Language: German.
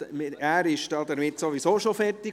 Er ist sowieso schon fertig.